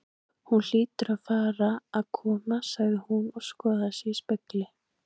Hún hlýtur að fara að koma sagði hún og skoðaði sig í spegli.